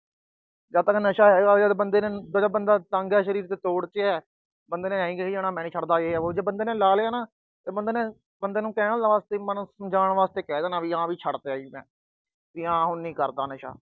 ਜਦ ਤੱਕ ਨਸ਼ਾ ਹੈਗਾ, ਜਦ ਬੰਦਾ ਤੰਗ ਆ, ਸਰੀਰ ਤੋੜ ਤੇ ਆ, ਬੰਦੇ ਨੇ ਕਹਿ ਜਾਣਾ, ਮੈਂ ਨੀ ਛੱਡਦਾ, ਯੇ ਆ, ਬੋ ਆ, ਜੇ ਬੰਦੇ ਨੇ ਲਾ ਲਿਆ ਨਾ, ਤਾਂ ਬੰਦੇ ਨੂੰ ਕਹਿਣ ਵਾਸਤੇ, ਸਮਝਾਉਣ ਵਾਸਤੇ ਕਹਿ ਦੇਣਾ ਵੀ ਹਾਂ ਵੀ ਛੱਡਤਿਆ ਜੀ ਮੈਂ, ਵੀ ਹਾਂ ਹੁਣ ਨੀ ਕਰਦਾ ਨਸ਼ਾ।